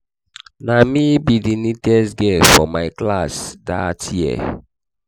na me be the neatest girl for my class dat year